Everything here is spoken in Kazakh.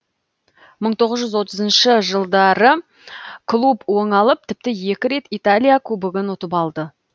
мың тоғыз жүз отызыншы жылдары клуб оңалып тіпті екі рет италия кубогын ұтып алды